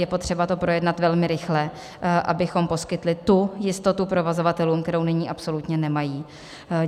Je potřeba to projednat velmi rychle, abychom poskytli tu jistotu provozovatelům, kterou nyní absolutně nemají.